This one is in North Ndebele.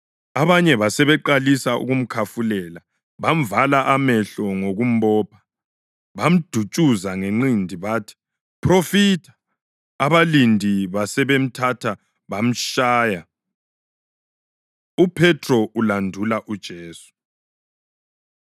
Abanye basebeqalisa ukumkhafulela; bamvala amehlo ngokumbopha, bamdutshuza ngenqindi bathi, “Phrofitha!” Abalindi basebemthatha bayamtshaya. UPhethro Ulandula UJesu